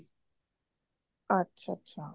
ਅੱਛਾ ਅੱਛਾ